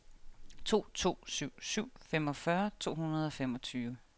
to to syv syv femogfyrre to hundrede og femogtyve